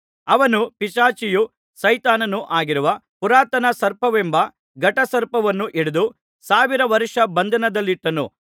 ಅವನು ಪಿಶಾಚಿಯೂ ಸೈತಾನನೂ ಆಗಿರುವ ಪುರಾತನ ಸರ್ಪವೆಂಬ ಘಟಸರ್ಪವನ್ನು ಹಿಡಿದು ಸಾವಿರ ವರ್ಷ ಬಂಧನದಲ್ಲಿಟ್ಟನು